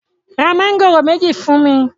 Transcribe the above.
ra Mángòrò méjì fún mí!